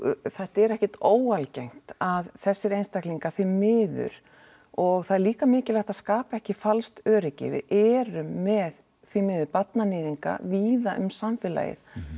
þetta er ekkert óalgengt að þessir einstaklingar því miður og það er líka mikilvægt að skapa ekki falskt öryggi við erum með því miður barnaníðinga víða um samfélagið